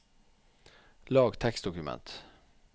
lag tekstdokument